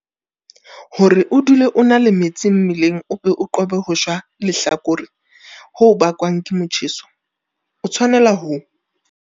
Hore o dule o na le metsi mmeleng o be o qobe ho shwa lehlakore ho bakwang ke motjheso, o tshwanela ho.